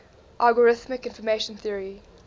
algorithmic information theory